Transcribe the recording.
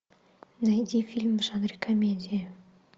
найди фильм в жанре комедия